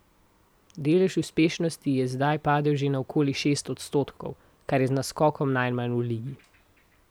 Delež uspešnosti je zdaj padel že na okoli šest odstotkov, kar je z naskokom najmanj v ligi.